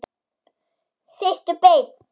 Sittu beinn.